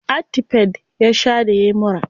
Actifed ya sha da yayi mura.